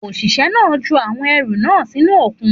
Òṣìṣẹ́ náà ju àwọn ẹrù náà sínú òkun